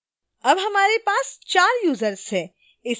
अब हमारे पास 4 यूजर्स हैं